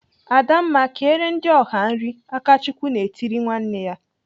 "Adamma, kere ndị ọha nri!" Akachukwu na-etiri nwanne ya.